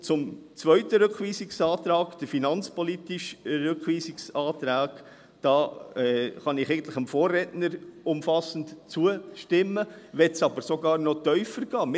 Zum zweiten Rückweisungsantrag, dem finanzpolitischen Rückweisungsantrag, kann ich eigentlich dem Vorredner umfassend zustimmen, möchte aber sogar noch tiefer gehen: